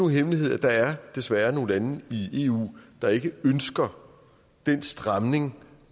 hemmelighed at der desværre er nogle lande i eu der ikke ønsker den stramning